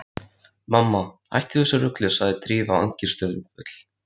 Mamma, hættu þessu rugli sagði Drífa angistarfull.